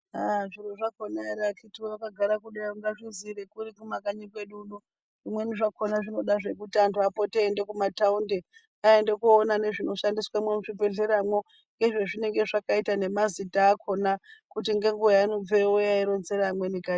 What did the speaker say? Aaah zviro zvakona ere akiti woye ungazvizireipi kumakanyi kwedu uno zvimweni zvakona zvinoda zve kuti antu apote eienda kumataundi aende koona nezvinoshandiswemwo muzvibhehleramwo nezvezvinenge zvakaita nemazita akona kuti ngenguwa yaanobveyo ouya eironzere amweni kanyi.